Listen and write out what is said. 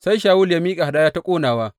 Sai Shawulu ya miƙa hadaya ta ƙonawa.